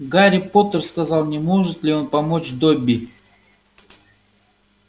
гарри поттер сказал не может ли он помочь добби